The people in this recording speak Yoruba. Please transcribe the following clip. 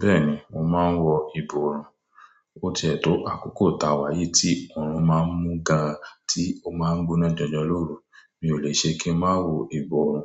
Bẹ́ẹ̀ni, mo máa ń wọ ìborùn. Ó ti ẹ́ tó àkókò táwáyi tí ọ̀rùn má ń mú gan-an tí ó má ń gbóná jọjọ lóru, mi ò lè ṣe kí ń má wọ ìborùn.